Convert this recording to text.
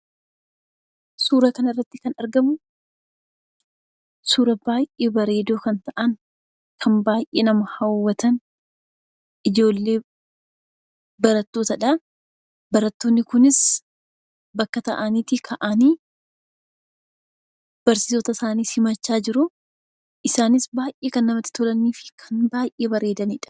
Suura kana irratti kan argamu, suura baay'ee bareedoo ta'an, kan baay'ee nama hawwatan ijoollee barattootadha. Ijoolleen Kunis iddoo taa'anii barsiisota isaanii simachaa jiru. Isaanis baay'ee kan namatti tolaniidha.